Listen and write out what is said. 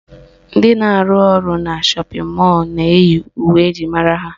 Ndị na-arụ ọrụ na shọpịn mọlụ na-eyi uwe eji mara ha